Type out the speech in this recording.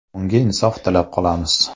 Unga insof tilab qolamiz.